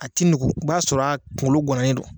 A ti i b'a sɔrɔ a kungolo ŋananen don